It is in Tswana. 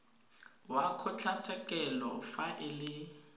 wa kgotlatshekelo fa e le